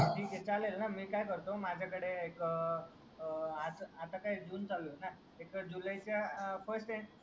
चालेल ना मी काय करतो माझ्या कडे एक आता काय जून चालू आहे ना जुलै च्या FIRST